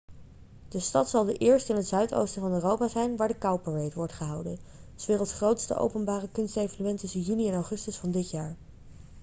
de stad zal de eerste in het zuidoosten van europa zijn waar de cowparade wordt gehouden s werelds grootste openbare kunstevenement tussen juni en augustus van dit jaar